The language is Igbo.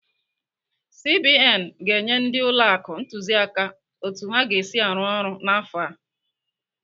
CBN ga-enye ndị ụlọ akụ ntụziaka otu ha ga-esi arụ ọrụ n'afọ a.